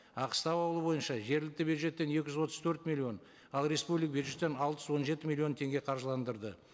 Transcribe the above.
аққыстау ауылы бойынша жергілікті бюджеттен екі жүз отыз төрт миллион ал бюджеттен алты жүз он жеті миллион теңге қаржыландырды